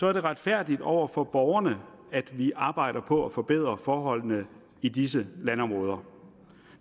er det retfærdigt over for borgerne at vi arbejder på at forbedre forholdene i disse landområder